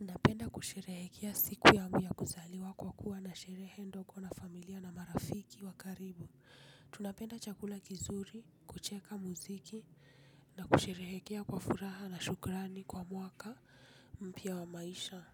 Napenda kusherehekea siku yangu kuzaliwa kwa kuwa na sherehe ndogo na familia na marafiki wa karibu. Tunapenda chakula kizuri, kucheka muziki na kusherehekea kwa furaha na shukrani kwa mwaka mpya wa maisha.